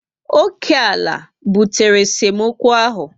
Oké ala bidoro esemokwu ahụ